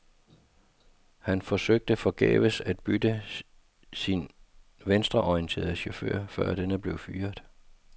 Han forsøgte forgæves at bytte sin venstreorienterede chauffør, før denne blev fyret.